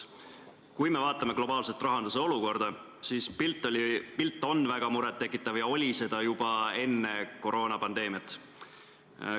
Kui me vaatame globaalset rahanduse olukorda, siis on pilt väga muret tekitav – oli seda juba enne koroonapandeemiat.